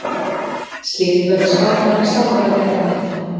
Slíkt verður skákmaðurinn sjálfur að vega og meta.